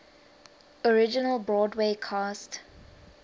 original broadway cast